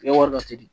U bɛ wari dɔ di